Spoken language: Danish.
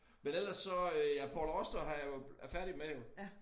Men ellers så øh ja Paul Auster har jeg jo er færdig med jo